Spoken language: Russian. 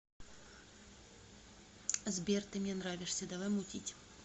сбер ты мне нравишься давай мутить